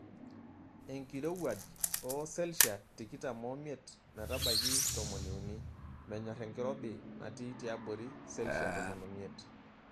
Enkirowuaj oo selshia tikitam omiet metabaiki tomoniuni. Menyorr enkirobi natii tiabori selshiai tomon omiet.